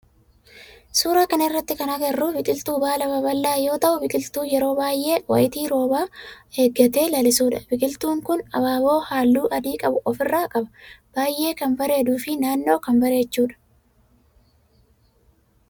Suuraa kana irratti kan agarru biqiltuu baala babal'aa yoo ta'u biqiltuu yeroo baayyee wayitii roobaa eggatee lallisudha. Biqiltun kun abaaboo halluu adi qabu ofirraa qaba. Baayyee kan bareeduu fi naannoo kan bareechudha.